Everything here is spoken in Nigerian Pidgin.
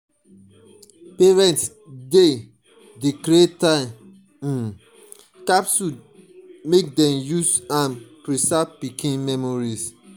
parents dey dey create time um capsules make dem use am preserve pikin memories.